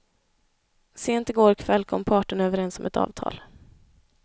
Sent i går kväll kom parterna överens om ett avtal.